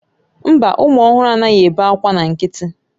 Mba, ụmụ ọhụrụ anaghị ebe akwa na nkịtị